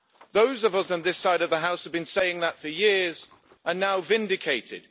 Those of us on this side of the House who have been saying that for years are now vindicated.